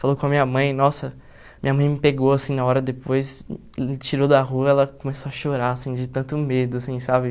Falou com a minha mãe, nossa, minha mãe me pegou, assim, na hora, depois, tirou da rua, ela começou a chorar, assim, de tanto medo, assim, sabe.